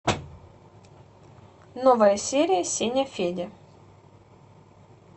новая серия сеня федя